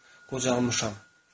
Qocalmışam.